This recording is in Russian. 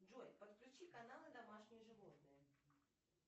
джой подключи каналы домашние животные